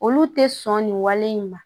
Olu tɛ sɔn nin wale in ma